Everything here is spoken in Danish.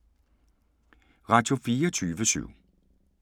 Radio24syv